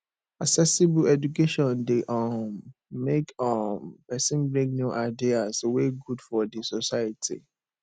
accessible education de um make um persin bring new ideas wey good for di society